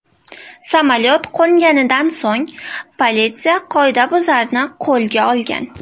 Samolyot qo‘nganidan so‘ng politsiya qoidabuzarni qo‘lga olgan.